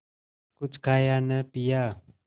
कुछ खाया न पिया